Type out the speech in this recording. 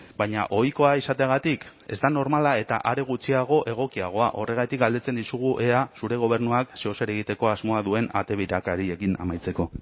baina ohikoa izateagatik ez da normala eta are gutxiago egokiagoa horregatik galdetzen dizugu ea zure gobernuak zeozer egiteko asmoa duen ate birakariekin amaitzeko